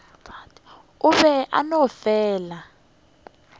o be a no fela